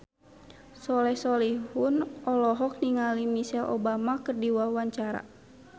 Soleh Solihun olohok ningali Michelle Obama keur diwawancara